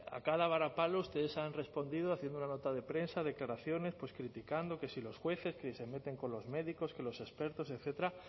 a cada varapalo ustedes han respondido haciendo una nota de prensa declaraciones pues criticando que si los jueces que si se meten con los médicos que los expertos etcétera